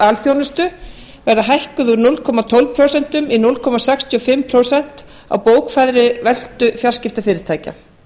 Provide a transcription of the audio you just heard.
alþjónustu verði hækkuð úr núll komma tólf prósent í núll komma sextíu og fimm prósent af bókfærðri veltu fjarskiptafyrirtækja